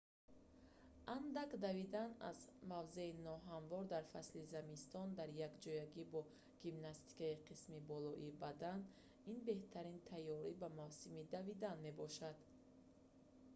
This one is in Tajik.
андак давидан аз мавзеи ноҳамвор дар фасли зимистон дар якҷоягӣ бо гимнастикаи қисми болоии бадан ин беҳтарин тайёрӣ ба мавсими давидан мебошанд